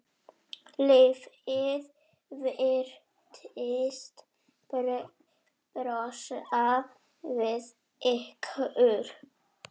Lífið virtist brosa við ykkur.